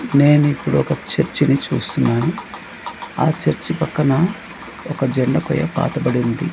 నేను ఇప్పుడు ఒక చర్చిని చూస్తున్నాను ఆ చర్చి పక్కన ఒక జెండా కొయ్య పాతబడి ఉంది.